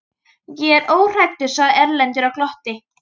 Ég er óhræddur, sagði Erlendur og glotti.